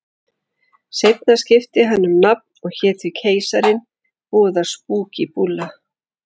Seinna skipti hann um nafn og hét þá Keisarinn, voða spúkí búlla.